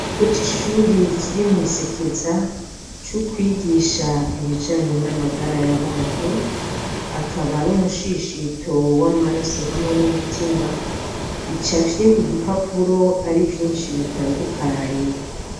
Ikigo c'ishure kiri mw’Isekeza co kwigisha Ibijanjye n'amagara y'abantu, akaba ari umushishito w'amaraso hamwe n'umutima bicafye kugipapuro ari vyinshi bitandukanye.